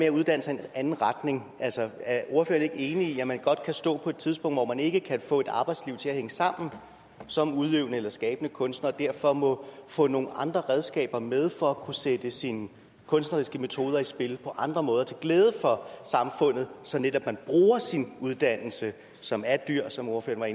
at uddanne sig i en anden retning er ordføreren ikke enig i at man godt kan stå på et tidspunkt hvor man ikke kan få et arbejdsliv til at hænge sammen som udøvende eller skabende kunstner og derfor må få nogle andre redskaber med for at kunne sætte sine kunstneriske metoder i spil på andre måder til glæde for samfundet så man netop bruger sin uddannelse som er dyr som ordføreren